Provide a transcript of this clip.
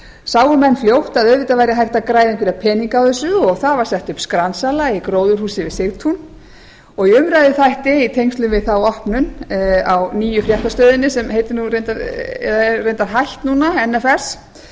sáu menn fljótt að auðvitað væri hægt að græða einhverja peninga á þessu og það var sett upp skransala í gróðurhúsi við sigtún og í umræðuþætti í tengslum við þá opnun á nýju fréttastöðinni sem er reyndar hætt núna nfs